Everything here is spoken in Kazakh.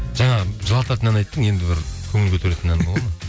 жаңағы жылататын ән айттың енді бір көңіл көтеретін ән болады ма